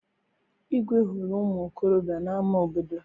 Igwe hụrụ ụmụ okorobịa n'ama obodo.